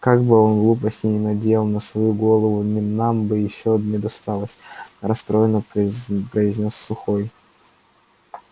как бы он глупостей не наделал на свою голову и нам бы ещё не досталось расстроенно произнёс сухой